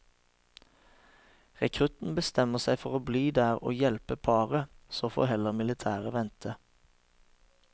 Rekrutten bestemmer seg for å bli der og hjelpe paret, så får heller militæret vente.